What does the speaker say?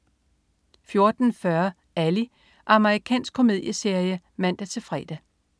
14.40 Ally. amerikansk komedieserie (man-fre)